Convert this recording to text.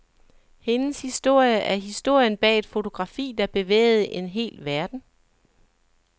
Hendes historie er historien bag et fotografi, der bevægede en hel verden.